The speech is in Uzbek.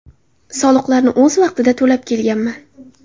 Soliqlarni o‘z vaqtida to‘lab kelganman.